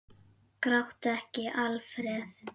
Gráttu ekki, Alfreð!